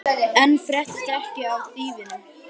Og enn fréttist ekkert af þýfinu.